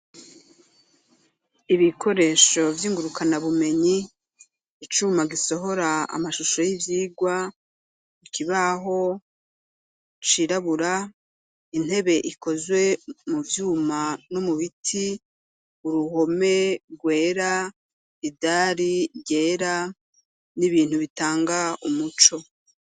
Ibikoresho vy'ingurukanabumenyi, icuma gisohora amashusho y'ivyigwa, ikibaho cirabura, intebe ikozwe mu vyuma no mu biti, uruhome rwera, idari ryera, n'ibintu bitanga umuco.